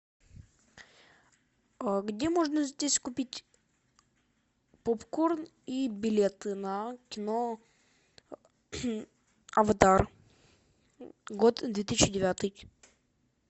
где можно здесь купить попкорн и билеты на кино аватар год две тысячи девятый